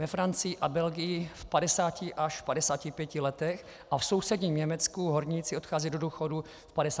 Ve Francii a Belgii v 50 až- 55 letech a v sousedním Německu horníci odcházejí do důchodu v 55 letech.